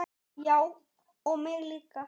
Já og mig líka.